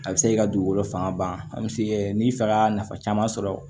A bɛ se k'i ka dugukolo fanga ban a bɛ se kɛ n'i fɛga nafa caman sɔrɔ